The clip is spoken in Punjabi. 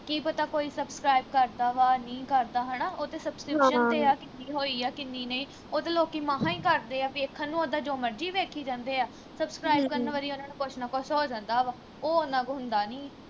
ਕੀ ਪਤਾ ਕੋਈ subscribe ਕਰਦਾ ਵਾਂ ਨਹੀਂ ਕਰਦਾ ਹਣਾ ਉਹ ਤੇ subscription ਤੇ ਆ ਕਿੰਨੀ ਹੋਈ ਆ ਕਿੰਨੀ ਨਹੀਂ ਉਹ ਤੇ ਲੋਕੀ ਮਹਾ ਈ ਕਰਦੇ ਆ ਵੇਖਣ ਨੂੰ ਉੱਦਾ ਜੋ ਮਰਜੀ ਵੇਖੀ ਜਾਂਦੇ ਆ subscribe ਕਰਨ ਵਾਰੀ ਉਨ੍ਹਾਂ ਨੂੰ ਕੁਛ ਨਾ ਕੁਛ ਹੋ ਜਾਂਦਾ ਵਾ ਉਹ ਉਨ੍ਹਾਂ ਤੋਂ ਹੁੰਦਾ ਨੀ